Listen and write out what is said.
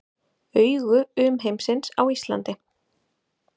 Augu umheimsins á Íslandi